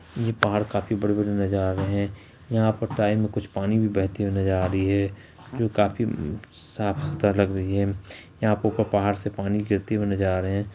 ये पहाड़ काफी बड़े-बड़े नजर आ रहे हैं यहाँ पर टाइम पानी भी बेहेती हुई नजर आ रहे हैं जो काफी साफ सुथरा लग रही हैं यहाँ पर ऊपर पहाड़ से से पानी गिरते हुई नजर आ रहे हैं।